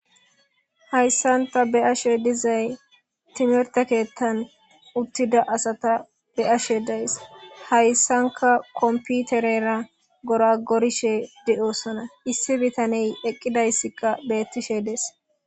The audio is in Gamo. hayssanta be ashe dizay timirte keettan uttida asata be ashe days hayssanka komputerera gora gorishe di7osona issi bitaney eqqidayssikka beettishe dees